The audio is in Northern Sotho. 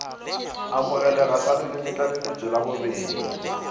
amogelega sa lelemetlaleletšo la bobedi